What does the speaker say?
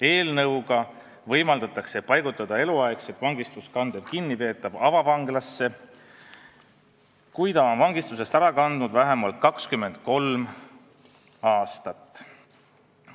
Eelnõuga võimaldatakse paigutada eluaegset vangistust kandev kinnipeetav avavanglasse, kui ta on vangistusest ära kandnud vähemalt 23 aastat.